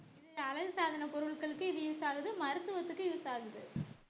இது அழகு சாதனப் பொருட்களுக்கு இது use ஆகுது மருத்துவத்துக்கு use ஆகுது